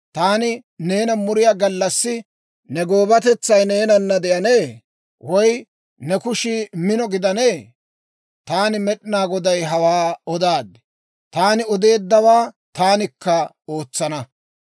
Taani neena muriyaa gallassi ne goobatetsay neenana de'anee? Woy ne kushii mino gidanee? Taani Med'inaa Goday hawaa odaad; taani odeeddawaa taanikka ootsana.